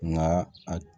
Nka a